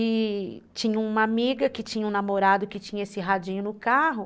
E tinha uma amiga que tinha um namorado que tinha esse radinho no carro.